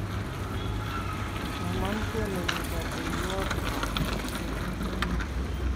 Kesoman konemu kateiywotap sopet nemie